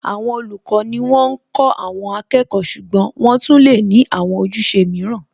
Àwọn olùkọ́ ni wọ́n ń kó àwọn akẹ́kọ̀ọ́ ṣùgbọ́n wọ́n tún lè ní àwọn ojúṣe mìíràn